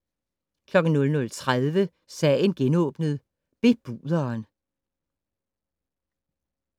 00:30: Sagen genåbnet: Bebuderen